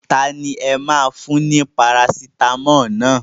Tani ẹ máa fún ní Parasitamọ́ọ̀ naa?